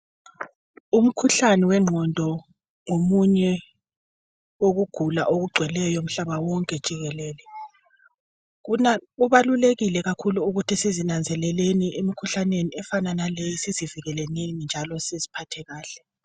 Umkhuhlane wengqondo ngomunye wokugula okugcweleyo umhlaba wonke jikelele. Kubalulekile kakhulu ukuthi sizinanzeleleni emkhuhlaneni efana naleyi njalo siziphathe kahle.